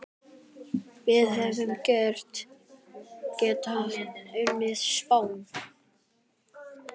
Við hefðum getað unnið Spán.